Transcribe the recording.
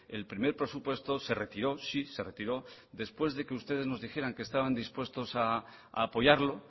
el primer presupuesto se retiró sí se retiró después de que ustedes nos dijeran que estaban dispuestos a apoyarlo